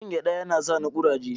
Cin gyaɗa yana sani kuraje.